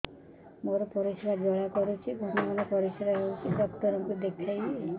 ମୋର ପରିଶ୍ରା ଜ୍ୱାଳା କରୁଛି ଘନ ଘନ ପରିଶ୍ରା ହେଉଛି ଡକ୍ଟର କୁ ଦେଖାଇବି